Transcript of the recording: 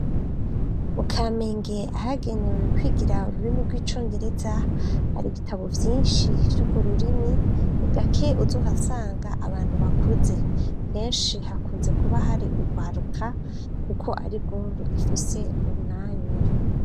Mu kamenge ahagenewe kwigira ururimi rw'icongereza har'ibitabo vyinshi ry'urwo rurimi ni gake uzohasanga abantu bakuze kenshi hakunze kuba hari urwaruka kuko arirwo rufise umwanya.